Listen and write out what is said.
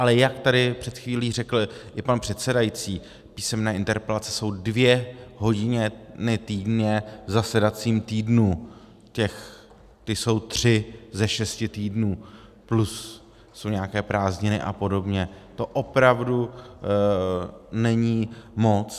Ale jak tady před chvílí řekl i pan předsedající, písemné interpelace jsou dvě hodiny týdně v zasedacím týdnu, ty jsou tři ze šesti týdnů, plus jsou nějaké prázdniny a podobně, to opravdu není moc.